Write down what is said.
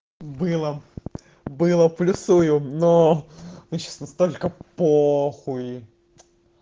была была плюсую но мне сейчас на столько похуй